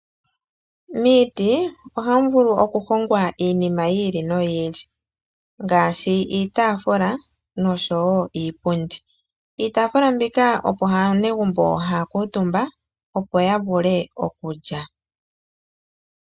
Miiti ohamu vulu okuhongwa iinima yi ili no yi ili , ngaashi iitaafula nosho wo iipundi. Iitafula mbika opo aanegumbo ha ya kuutumba opo ya vule okulya.